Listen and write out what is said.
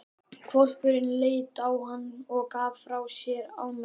Hvolpurinn leit á hann og gaf frá sér ánægjuhljóð.